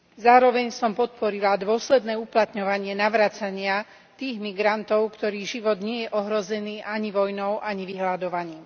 Zároveň som podporila dôsledné uplatňovanie navracania tých migrantov, ktorých život nie je ohrozený ani vojnou ani vyhladovaním.